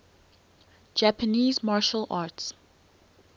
japanese martial arts